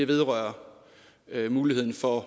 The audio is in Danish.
vedrører muligheden for